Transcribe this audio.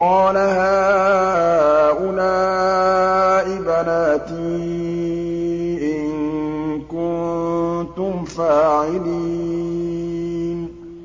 قَالَ هَٰؤُلَاءِ بَنَاتِي إِن كُنتُمْ فَاعِلِينَ